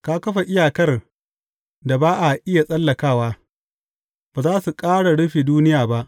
Ka kafa iyakar da ba a iya tsallakawa; ba za su ƙara rufe duniya ba.